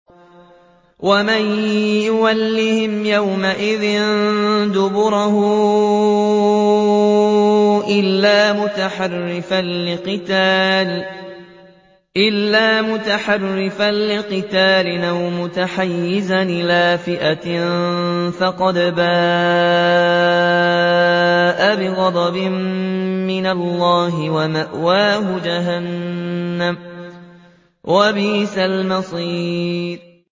وَمَن يُوَلِّهِمْ يَوْمَئِذٍ دُبُرَهُ إِلَّا مُتَحَرِّفًا لِّقِتَالٍ أَوْ مُتَحَيِّزًا إِلَىٰ فِئَةٍ فَقَدْ بَاءَ بِغَضَبٍ مِّنَ اللَّهِ وَمَأْوَاهُ جَهَنَّمُ ۖ وَبِئْسَ الْمَصِيرُ